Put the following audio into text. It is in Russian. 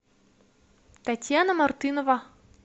татьяна мартынова